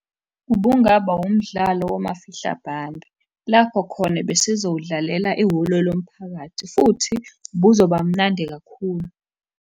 Ubungaba wumdlalo womafihla bhande, lapho khona besizowudlalela ehholo lomphakathi, futhi ubuzoba mnandi kakhulu.